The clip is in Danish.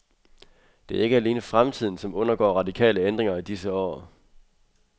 Det er ikke alene fremtiden, som undergår radikale ændringer i disse år.